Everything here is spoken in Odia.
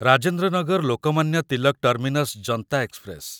Rajendra Nagar Lokmanya Tilak terminus Janta express